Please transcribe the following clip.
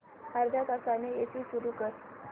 अर्ध्या तासाने एसी सुरू कर